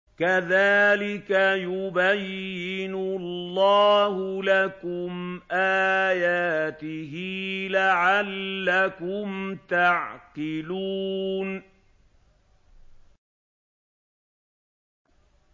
كَذَٰلِكَ يُبَيِّنُ اللَّهُ لَكُمْ آيَاتِهِ لَعَلَّكُمْ تَعْقِلُونَ